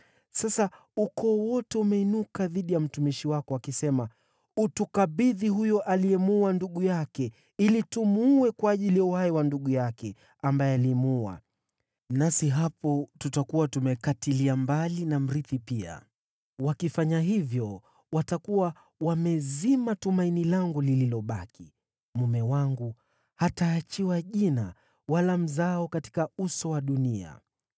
Sasa ukoo wote umeinuka dhidi ya mtumishi wako, wakisema, ‘Utukabidhi huyo aliyemuua ndugu yake, ili tumuue kwa ajili ya uhai wa ndugu yake ambaye alimuua, nasi hapo tutakuwa tumekatilia mbali na mrithi pia.’ Wakifanya hivyo, watakuwa wamezima tumaini langu lililobaki, mume wangu hataachiwa jina wala mzao katika uso wa dunia.”